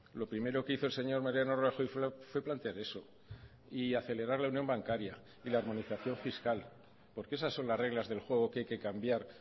lo primero que hizo el señor mariano rajoy fue plantear eso y acelerar la unión bancaria y la armonización fiscal porque esas son las reglas del juego que hay que cambiar